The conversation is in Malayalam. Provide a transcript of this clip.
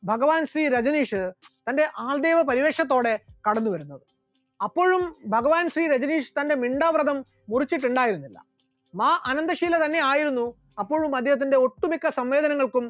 ഭഗവാൻ ശ്രീ രജനീഷ് തന്റെ അന്ധേവാ പരിവേഷത്തോടെ കടന്നുവരുന്നത്, അപ്പോഴും ഭഗവാൻ ശ്രീ രജനീഷ് തന്റെ മിണ്ടാ വ്രതം മുറിച്ചിട്ടുണ്ടായിരുന്നില്ല, മാ അനന്തഷീല തന്നെയായിരുന്നു അപ്പോഴും അദ്ദേഹത്തിന്റെ ഒട്ടുമിക്ക സമ്മേളനങ്ങൾക്കും